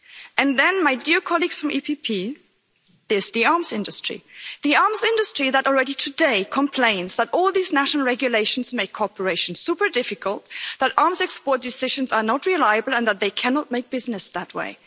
And then, my dear colleagues from EPP, there's the arms industry the arms industry that already today complains that all these national regulations make cooperation super difficult, that arms export decisions are not reliable and that they cannot do business that way.